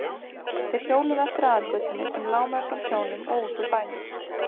Þeir hjóluðu eftir aðalgötunni sem lá meðfram sjónum og út úr bænum.